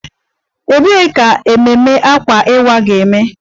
Ebee ka ememme Akwa Iwa ga-eme?